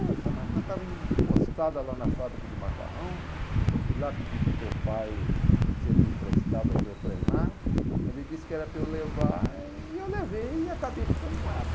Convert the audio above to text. Ah, essa máquina estava encostada lá na fábrica de macarrão, eu fui lá pedir para o teu pai se ele me emprestava para eu treinar, mas ele disse que era para eu levar, e eu levei e acabei ficando com ela.